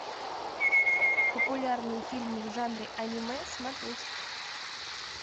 популярные фильмы в жанре аниме смотреть